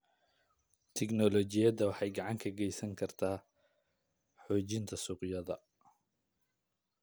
Tiknoolajiyadu waxay gacan ka geysan kartaa xoojinta suuqyada.